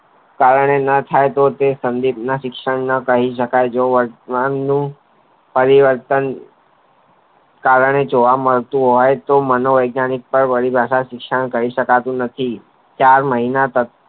કારણે ન થાય તે તો તે સંદીપ ના શિક્ષણ ના કહી શકાય જ્ઞાંગ ના પરિવર્તન કારણે જોવા મળતું હોય તો માનો વૈજ્ઞાનિક વધુ શિક્ષણ કરી શકાતું નથી ચાર મહિના